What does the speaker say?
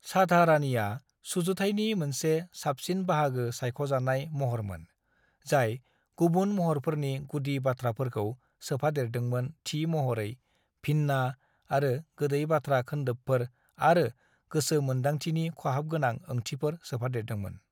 "साधारानिया सुजुथायनि मोनसे साबसिन बाहागो सायख'जानाय महरमोन, जाय गुबुन महरफोरनि गुदि बाथ्राफोरखौ सोफादेरदोंमोन थि महरै भिन्ना, आरो गोदै बाथ्रा खोन्दोबफोर आरो गोसो मोन्दांथिनि खहाबगोनां ओंथिफोर सोफादेरदोंमोन।"